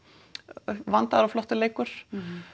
vandaður og flottur leikur